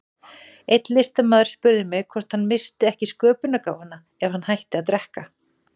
Einn listamaður spurði mig hvort hann missti ekki sköpunargáfuna ef hann hætti að drekka.